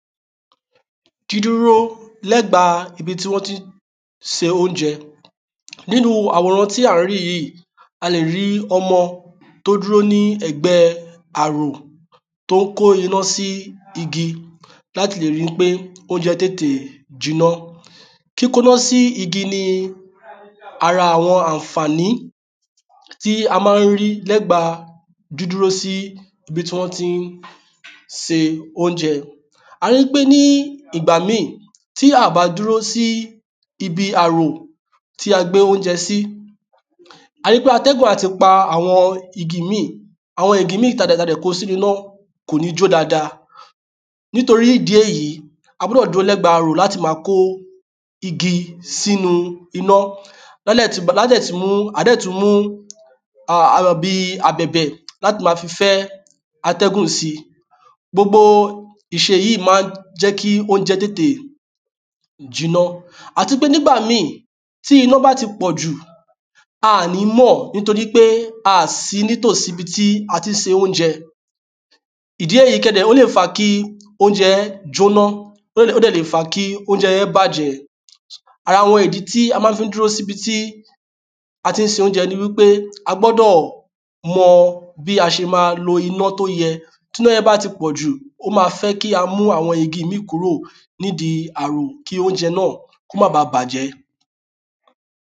dídúro lẹ́gba ibi tí wọn ti ń ṣe óunjẹ́. Nínú àwòran tí á n rí yìí. A lè rí ọmọ tó dúró ni ẹ̀gbẹ́ àrò tó n kó iná sí igi láti lè rí wí pe óunjẹ tétè jiná. Kíkó iná sí igi ni ara awọn àǹfáàní tí á ma n rí lẹ́gba dídúro sí ibi tí wọn tí n sè óunjẹ. Á rí pe nígbà mìí tí a bá dúró sí ibi àrò tí a gbé ónjẹ́ sí, á rí pe atẹ́gùn a ti pa àwọn igi ìmí, àwọn igi ìmí tá dẹ̀ kó sínú iná kò ni jo dáàdà ní torí ìdí èyí, á gbọ́dò ma dúró síbi ìdí àrò láti ma kó igi sí iná. A dẹ́ tún mú bíi abẹ̀bẹ̀ láti ma fẹ́ atẹ́gùn síì. Gbogbo ìṣe yíì má n jẹ́ ki óunjẹ tétè jiná Àtipé nígbà mìí tí iná bá ti pọ̀jù á à ní mọ̀ ní torih pe á à si ní tòsíi ibi tí a tí n sè óunjẹ ìdí èyí, o lè fa kí óunjẹ jóná Ó dẹ̀ le fa kí óunjẹ́ yẹn bájẹ̀, ara àwọn ìdí tí a má fi n dúró si ibi tí á tí n sé óunjẹ ni wí pe agbọ́dọ̀ mọ bí a ṣe ma lo iná tí o yẹ́ Tí iná yẹn bá ti pọ̀jù, o má fẹ kí a mú àwọn igi ìmí kúrò ní ìdí àrò kí óunjẹ náá má ba bàjẹ́